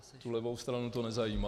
Tu levou stranu to nezajímá.